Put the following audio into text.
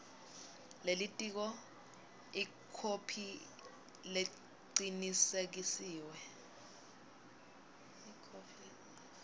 lelitiko ikhophi lecinisekisiwe